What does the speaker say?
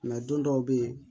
don dɔw bɛ yen